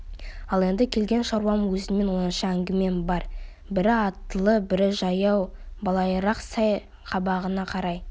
ал енді келген шаруам өзіңмен оңаша әңгімем бар бірі аттылы бірі жаяу былайырақ сай қабағына қарай